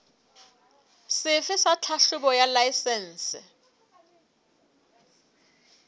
sefe sa tlhahlobo ya laesense